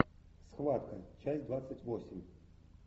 схватка часть двадцать восемь